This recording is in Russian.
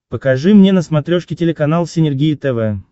покажи мне на смотрешке телеканал синергия тв